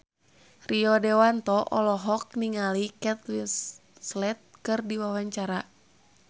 Rio Dewanto olohok ningali Kate Winslet keur diwawancara